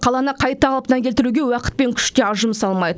қаланы қайта қалпына келтіруге уақыт пен күш те аз жұмсалмайды